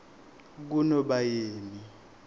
kunobayeni